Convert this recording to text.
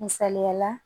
Misaliyala